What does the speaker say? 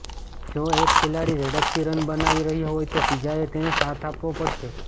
જો એક ખેલાડી ઝડપથી રન બનાવી રહ્યો હોય તો બીજાએ તેને સાથ આપવો પડશે